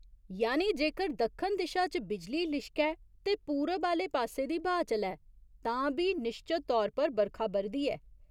यानि जेकर दक्खन दिशा च बिजली लिश्कै ते पूरब आह्‌ले पासे दी ब्हाऽ चलै तां बी निश्चत तौर पर बरखा ब'रदी ऐ।